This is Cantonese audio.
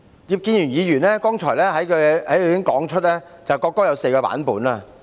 葉建源議員剛才在他的發言中指出，國歌有4個版本。